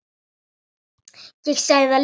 Ég sagði það líka.